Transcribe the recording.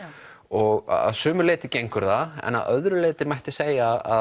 og að sumu leyti gengur það en að öðru leyti mætti segja að